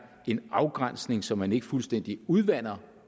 en afgrænsning så man ikke fuldstændig udvander